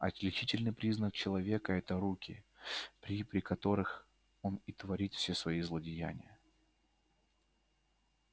отличительный признак человека это руки при при которых он и творит все свои злодеяния